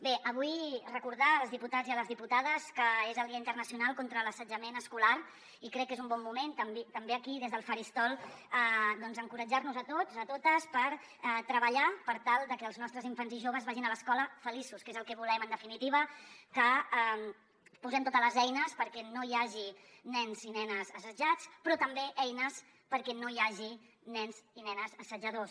bé avui recordar als diputats i a les diputades que és el dia internacional contra l’assetjament escolar i crec que és un bon moment també aquí des del faristol d’encoratjar nos tots totes per treballar per tal de que els nostres infants i joves vagin a l’escola feliços que és el que volem en definitiva que posem totes les eines perquè no hi hagi nens i nenes assetjats però també eines perquè no hi hagi nens i nenes assetjadors